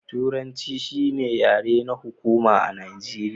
Turanci shi ne yare na hukuma a Nijeriya.